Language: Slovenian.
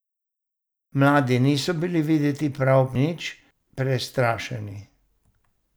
Mladi niso bili videti prav nič prestrašeni.